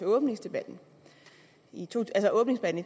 åbningsdebatten i